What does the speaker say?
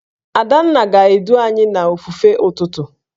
Adanna ga-edu anyị n'ofufe ụtụtụ